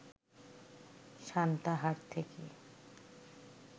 সান্তাহার থেকে